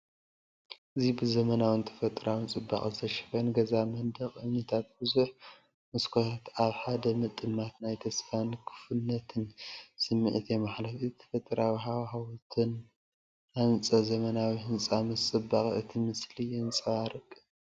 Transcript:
እዚ ብዘመናውን ተፈጥሮኣውን ጽባቐ ዝተሸፈነ ገዛ፤ መንደቕ እምኒን ብዙሕ መስኮታትን ኣብ ሓደ ምጥማት ናይ ተስፋን ክፉትነትን ስምዒት የመሓላልፉ። ኣብ ተፈጥሮኣዊ ሃዋህው ዝተሃንጸ ዘመናዊ ህንጻ ምስ ጽባቐ እቲ ምስሊ የንፀባረቅ።